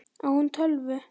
Á hún tölvu?